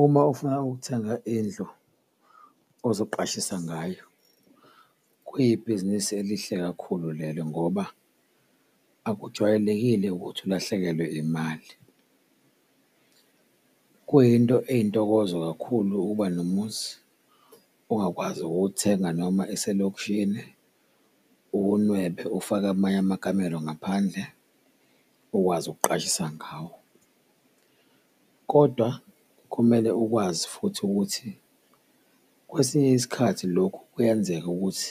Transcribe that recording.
Uma ufuna ukuthenga indlu ozoqashisa ngayo, kuyibhizinisi elihle kakhulu lelo ngoba akujwayelekile ukuthi ulahlekelwe imali. Kuyinto eyintokozo kakhulu ukuba nomuzi ongakwazi ukuwuthenga noma eselokishini uwunwebe ufake amanye amakamero ngaphandle, ukwazi ukuqashisa ngawo. Kodwa kumele ukwazi futhi ukuthi kwesinye isikhathi lokhu kuyenzeka ukuthi